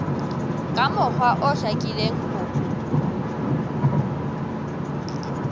ka mokgwa o hlakileng ho